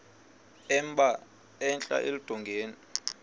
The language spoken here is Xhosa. emba entla eludongeni